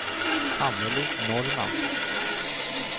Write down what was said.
Anneli Norrman